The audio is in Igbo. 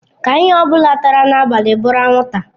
Ka ihe ọ bụla tara n'abalị bụrụ anwụnta.